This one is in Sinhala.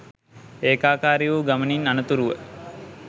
ඒකාකාරී වූ ගමනින් අනතුරුව